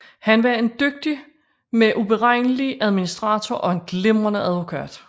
Han var en dygtig med uberegnelig adminstrator og en glimrende advokat